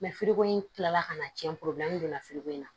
ko in kilala ka na cɛn donna in na